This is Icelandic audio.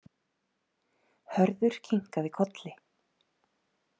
Hörður kinkaði kolli.